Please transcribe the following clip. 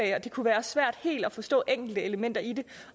at det kunne være svært helt at forstå enkeltelementer i det